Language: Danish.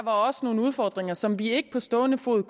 er også nogle udfordringer som vi ikke på stående fod